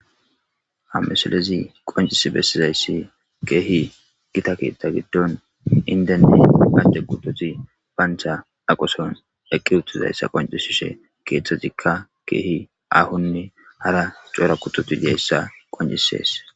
hamisalezi qoncisi bessizayssi keehi gita keettha giddon indenni acce gutozi bancha aqoson eqqi uttizayssa qoncisishe keeththezikka keehi ahonne hara cora kutoti diyayssa qoncisees